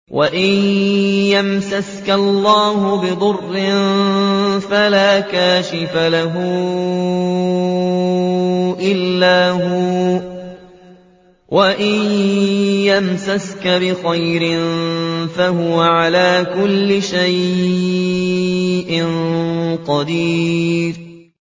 وَإِن يَمْسَسْكَ اللَّهُ بِضُرٍّ فَلَا كَاشِفَ لَهُ إِلَّا هُوَ ۖ وَإِن يَمْسَسْكَ بِخَيْرٍ فَهُوَ عَلَىٰ كُلِّ شَيْءٍ قَدِيرٌ